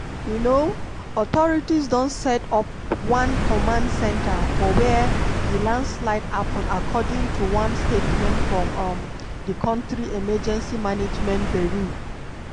um authorities don set up one command centre for wia di landslide happun according to one statement from um di kontri emergency management bureau.